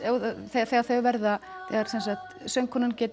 þegar þegar þegar söngkonan